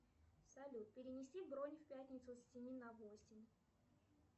салют перенеси бронь в пятницу с семи на восемь